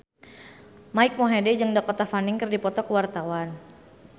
Mike Mohede jeung Dakota Fanning keur dipoto ku wartawan